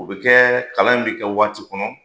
O bɛ kɛ kalan in bɛ kɛ waati kɔnɔ